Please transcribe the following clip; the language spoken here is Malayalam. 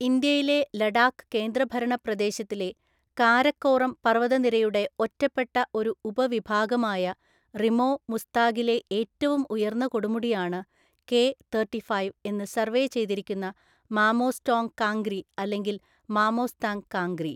ഇന്ത്യയിലെ ലഡാക്ക് കേന്ദ്രഭരണ പ്രദേശത്തിലെ കാരക്കോറം പർവതനിരയുടെ ഒറ്റപ്പെട്ട ഒരു ഉപവിഭാഗമായ റിമോ മുസ്താഗിലെ ഏറ്റവും ഉയർന്ന കൊടുമുടിയാണ് കെ തെര്‍ട്ടിഫൈവ് എന്ന് സർവേ ചെയ്‌തിരിക്കുന്ന മാമോസ്റ്റോംഗ് കാംഗ്രി അല്ലെങ്കിൽ മാമോസ്‌താങ് കാംഗ്രി.